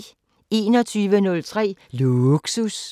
21:03: Lågsus